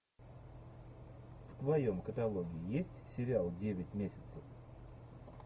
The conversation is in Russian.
в твоем каталоге есть сериал девять месяцев